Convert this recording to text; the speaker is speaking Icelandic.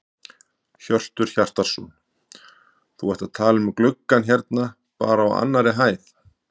Hjörtur Hjartarson: Þú ert að tala um gluggann hérna bara á annarri hæðinni?